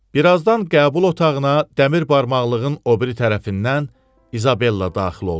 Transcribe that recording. Birazdan qəbul otağına dəmir barmaqlığın o biri tərəfindən İzabella daxil oldu.